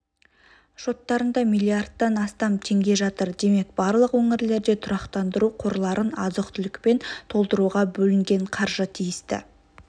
шоттарында млрд-тан астам теңге жатыр демек барлық өңірлерде тұрақтандыру қорларын азық-түлікпен толтыруға бөлінген қаржы тиісті